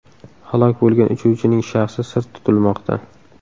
Halok bo‘lgan uchuvchining shaxsi sir tutilmoqda.